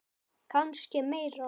Kannski meira.